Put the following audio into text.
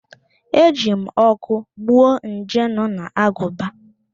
E ji m ọkụ gbuo nje nọ n'agụba